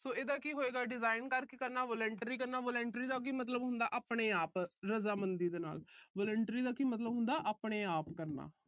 so ਇਹਦਾ ਕੀ ਹੋਏਗਾ design ਕਰਕੇ ਕਰਨਾ voluntary ਕਰਨਾ। voluntary ਦਾ ਕੀ ਮਤਲਬ ਹੁੰਦਾ- ਆਪਣੇ-ਆਪ ਰਜਾਮੰਦੀ ਨਾਲ। voluntary ਦਾ ਕੀ ਮਤਲਬ ਹੁੰਦਾ- ਆਪਣੇ-ਆਪ ਕਰਨਾ।